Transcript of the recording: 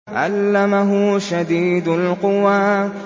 عَلَّمَهُ شَدِيدُ الْقُوَىٰ